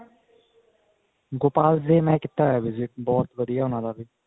ਗੋਪਾਲ ਦੇ ਮੈਂ ਕੀਤਾ ਹੋਇਆ visit ਬਹੁਤ ਵਧੀਆ ਉਹਨਾ ਦਾ ਵੀ